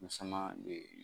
Musama